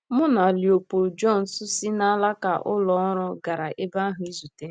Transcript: Mụ na Léopold Jontès si nalaka ụlọ ọrụ gara ebe ahụ izute ha.